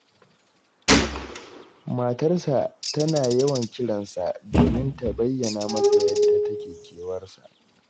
Matarsa tana yawan kiran sa, domin ta bayyana masa yadda take kewarsa